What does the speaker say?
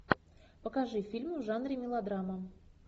покажи фильм в жанре мелодрама